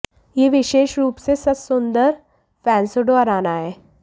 यह विशेष रूप से सच सुंदर फ़ैसुंडो अराना है